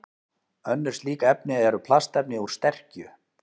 Önnur slík efni eru plastefni úr sterkju.